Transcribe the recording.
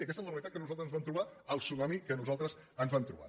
i aquesta és la realitat que nosaltres ens vam trobar el tsunami que nosaltres ens vam trobar